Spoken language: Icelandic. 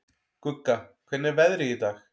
Gugga, hvernig er veðrið í dag?